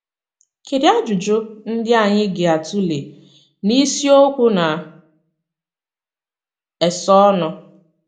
Kedụ ajụjụ ndị anyị ga - atụle n’isiokwu na - esonụ?